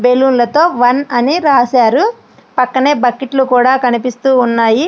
బెల్లున్ల తో వన్ అని రాశారు. పక్కనే బకెట్లు కూడా కనిపిస్తూ ఉన్నాయి.